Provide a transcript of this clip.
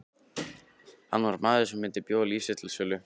Hann var maður sem myndi bjóða líf sitt til sölu.